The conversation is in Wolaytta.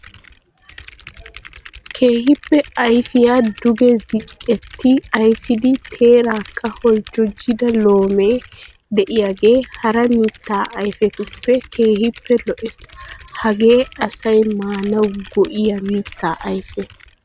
Keehippe ayfiya duge zinqqetti ayfidi teeraakka holjjojjida loomee de'iyagee hara mittaa ayfetuppe keehippe lo'ees. Hagee asay maanawu go'iya mittaa ayfe.